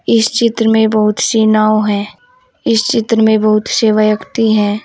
इस चित्र में बहुत से नाव है इस चित्र में बहुत से व्यक्ति हैं।